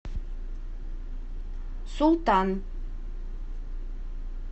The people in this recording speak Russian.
султан